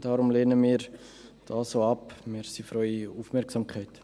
Deshalb lehnen wir sie auch ab.